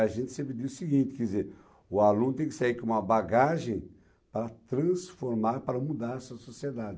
A gente sempre diz o seguinte, quer dizer, o aluno tem que sair com uma bagagem para transformar, para mudar essa sociedade.